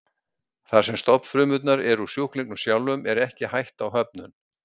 Þar sem stofnfrumurnar eru úr sjúklingnum sjálfum er ekki hætta á höfnun.